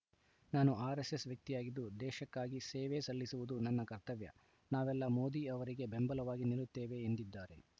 ನಾನು ಆರ್‌ಎಸ್‌ಎಸ್‌ ವ್ಯಕ್ತಿಯಾಗಿದ್ದು ದೇಶಕ್ಕಾಗಿ ಸೇವೆ ಸಲ್ಲಿಸುವುದು ನನ್ನ ಕರ್ತವ್ಯ ನಾವೆಲ್ಲ ಮೋದಿ ಅವರಿಗೆ ಬೆಂಬಲವಾಗಿ ನಿಲ್ಲುತ್ತೇವೆ ಎಂದಿದ್ದಾರೆ